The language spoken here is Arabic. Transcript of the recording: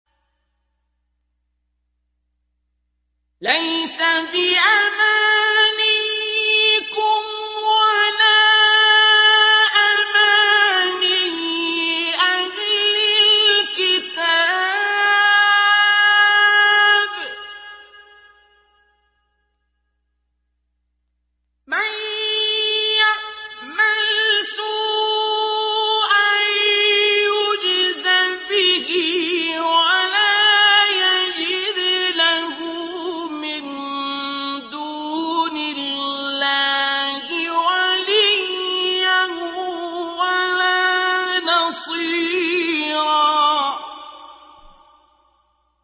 لَّيْسَ بِأَمَانِيِّكُمْ وَلَا أَمَانِيِّ أَهْلِ الْكِتَابِ ۗ مَن يَعْمَلْ سُوءًا يُجْزَ بِهِ وَلَا يَجِدْ لَهُ مِن دُونِ اللَّهِ وَلِيًّا وَلَا نَصِيرًا